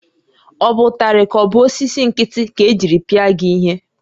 Ọ bụ ụtarị ka ọ bụ osisi nkịtị ka-ejiri pịa gị ihe?